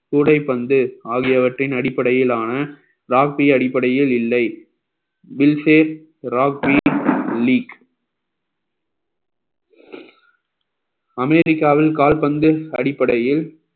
கூடைப்பந்து ஆகியவற்றின் அடிப்படையிலான அடிப்படையில் இல்லை league அமெரிக்காவில் கால்பந்து அடிப்படையில்